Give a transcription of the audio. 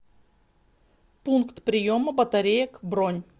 пункт приема батареек бронь